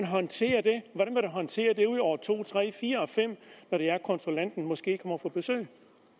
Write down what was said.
håndtere det i år to tre fire og fem når det er konsulenten måske kommer på besøg